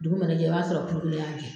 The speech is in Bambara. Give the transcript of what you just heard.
Dugu mana jɛ i b'a sɔrɔ y'a jɛn.